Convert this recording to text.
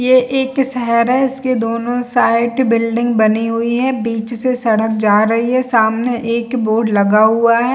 ये एक शहर है इसके दोनों साइड बिल्डिंग बनी हुई है बिच से सड़क जा रही है सामने एक बोर्ड लगा हुआ है।